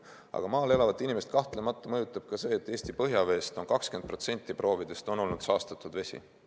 Aga maal elavat inimest kahtlemata mõjutab ka see, et 20% Eesti põhjavee proovidest on olnud saastatud vesi.